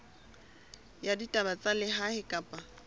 ya ditaba tsa lehae kapa